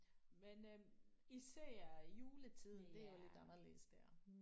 Men øh især juletiden det er jo lidt anderledes der